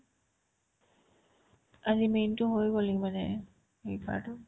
আজি main তো হৈ গ'ল এই মানে সেই পাৰতো